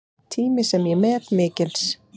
Tími sem ég met mikils.